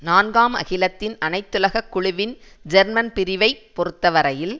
நான்காம் அகிலத்தின் அனைத்துலக குழுவின் ஜெர்மன் பிரிவை பொறுத்தவரையில்